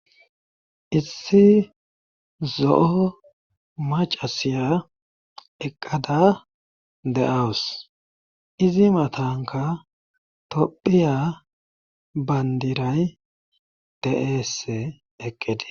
issi zo7o macasiya eqqada de7awus izi matanka tophiya bandiray de'ese eqqide